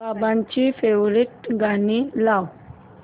बाबांची फेवरिट गाणी लाव